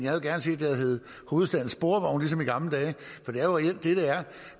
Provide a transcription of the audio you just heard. havde gerne set det havde heddet hovedstadens sporvogne ligesom i gamle dage for det er jo reelt det det er